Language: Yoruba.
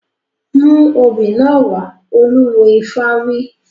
Mú obì náà wá! Olúwo ifá wí.